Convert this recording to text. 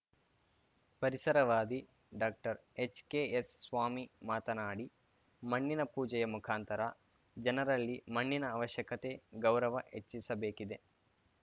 ಪರಿಸರವಾದಿ doctor H K S Swamy ಮಾತನಾಡಿ ಮಣ್ಣಿನ ಪೂಜೆಯ ಮುಖಾಂತರ ಜನರಲ್ಲಿ ಮಣ್ಣಿನ ಅವಶ್ಯಕತೆ ಗೌರವ ಹೆಚ್ಚಿಸಬೇಕಿದೆ